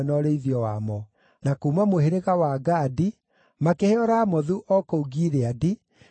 na kuuma mũhĩrĩga wa Gadi makĩheo Ramothu o kũu Gileadi, na Mahanaimu,